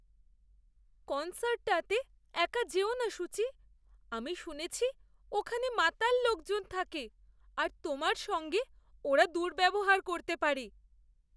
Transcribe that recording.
কন্সার্টটাতে একা যেও না, সূচি। আমি শুনেছি ওখানে মাতাল লোকজন থাকে আর তোমার সঙ্গে ওরা দুর্ব্যবহার করতে পারে।